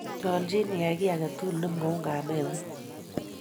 nyoljiin iyai kiit agetugul nemwoun kameng'uny